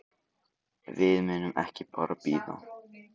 Við munum ekki bara bíða.